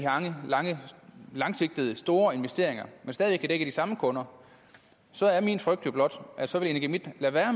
langsigtede store investeringer men stadig væk kan dække de samme kunder så er min frygt blot at så vil energimidt lade være